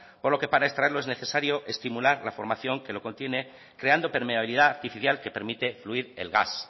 por lo que para extraerlo es necesario estimular la formación que lo contiene creando permeabilidad artificial que permite fluir el gas